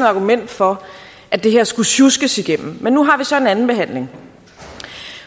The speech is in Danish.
argument for at det her skulle sjuskes igennem men nu har vi så en andenbehandling